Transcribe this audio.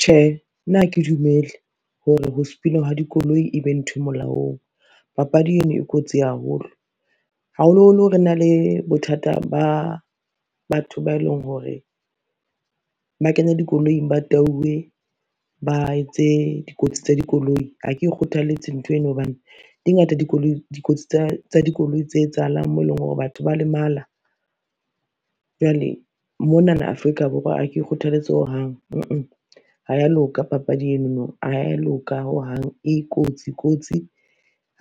Tjhe, nna ha ke dumele hore ho sepina ha dikoloi e be ntho e molaong, papadi eno e kotsi haholo. Haholoholo re na le bothata ba batho ba eleng hore, ba kenya dikoloing ba tauwe ba etse dikotsi tsa dikoloi ha ke kgothalletse ntho eno hobane di ngata dikotsi tsa dikoloi tse etsahalang moo eleng hore batho ba lemala. Jwale monana Afrika Borwa ha ke kgothaletse hohang, ha ya loka papadi enono ha ya loka hohang, e kotsi kotsi,